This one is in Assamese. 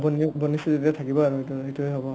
বন্ বনিছে যেতিয়া থাকিবই আৰু সেইটো সেইটোৱে হ'ব